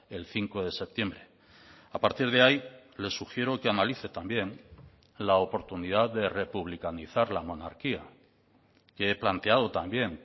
el cinco de septiembre a partir de ahí le sugiero que analice también la oportunidad de republicanizar la monarquía que he planteado también